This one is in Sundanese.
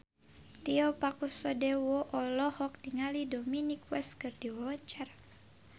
Tio Pakusadewo olohok ningali Dominic West keur diwawancara